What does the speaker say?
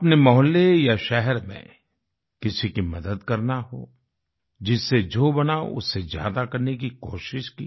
अपने मोहल्ले या शहर में किसी की मदद करना हो जिससे जो बना उससे ज्यादा करने की कोशिश की